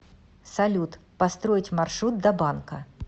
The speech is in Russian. салют построить маршрут до банка